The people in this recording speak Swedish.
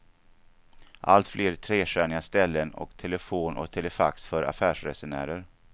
Allt fler trestjärniga ställen och telefon och telefax för affärsresenärer.